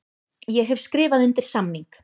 Ég hef skrifað undir samning.